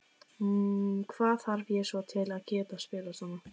Hvað þarf ég svo til að geta spilað svona?